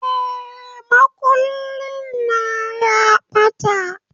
Eh, makullin na ya ɓata